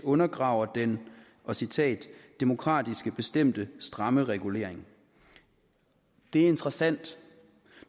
undergraver den citat demokratisk bestemte stramme regulering det er interessant